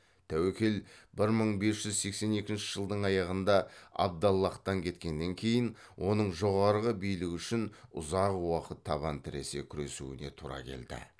тәуекел бір мың бес жүз сексен екінші жылдың аяғында абдаллахтан кеткеннен кейін оның жоғарғы билік үшін ұзақ уақыт табан тіресе күресуіне тура келді